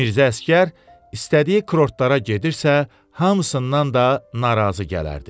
Mirzə Əsgər istədiyi kurortlara gedirsə, hamısından da narazı gələrdi.